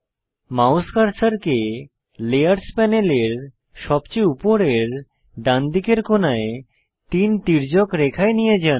mouse কার্সারকে layers প্যানেলের সবচেয়ে উপরের ডানদিকের কোনায় তিন তির্যক রেখায় নিয়ে যান